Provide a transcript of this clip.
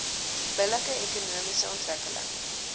billike ekonomiese ontwikkeling